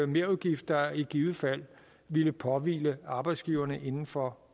merudgift der i givet fald ville påhvile arbejdsgiverne inden for